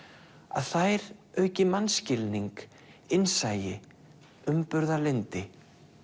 að þær auki mannskilning innsæi umburðarlyndi